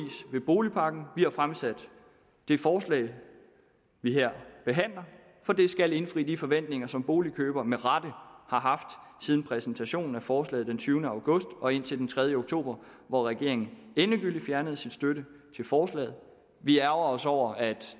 ved boligpakken vi har fremsat det forslag vi her behandler for det skal indfri de forventninger som boligkøbere med rette har haft siden præsentationen af forslaget den tyvende august og indtil den tredje oktober hvor regeringen endegyldigt fjernede sin støtte til forslaget vi ærgrer os over at